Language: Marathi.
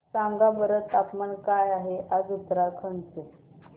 सांगा बरं तापमान काय आहे आज उत्तराखंड चे